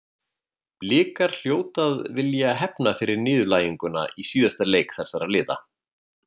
Blikar hljóta að vilja hefna fyrir niðurlæginguna í síðasta leik þessara liða.